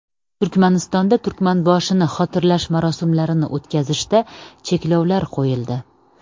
Turkmanistonda Turkmanboshini xotirlash marosimlarini o‘tkazishda cheklovlar qo‘yildi.